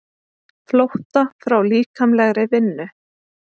Flótta frá líkamlegri vinnu.